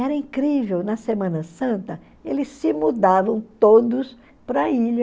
Era incrível, na Semana Santa, eles se mudavam todos para a ilha,